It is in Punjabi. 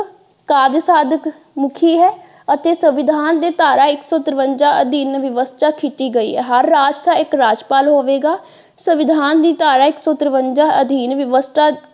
ਕਾਰਜ ਸਾਧਕ ਮੁੱਖੀ ਹੈ ਅਤੇ ਸੰਵਿਧਾਨ ਦੇ ਧਾਰਾ ਇੱਕ ਸੋ ਤਰਵੰਜਾ ਅਧੀਨ ਵਿਵਸਥਾ ਕੀਤੀ ਗਈ ਹੈ ਹਰ ਰਾਜ ਦਾ ਇੱਕ ਰਾਜਪਾਲ ਹੋਵੇਗਾ ਸੰਵਿਧਾਨ ਦੀ ਧਾਰਾ ਇੱਕ ਸੋ ਤਰਵੰਜਾ ਅਧੀਨ ਵਿਵਸਥਾ।